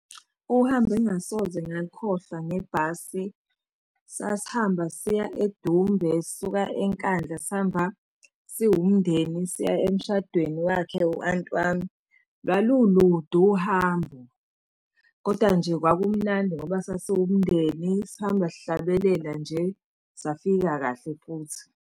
Uhambo engingasoze ngalukhohlwa ngebhasi, sasihamba siya eDumbe sisuka eNkandla sihamba siwumndeni, siya emshadweni wakhe u-anti wami. Lwalulude uhambo, koda nje kwakumnandi ngoba sasiwumndeni sihamba sihlabelela nje, safika kahle futhi.